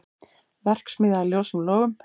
Verksmiðja í ljósum logum